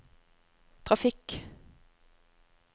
trafikk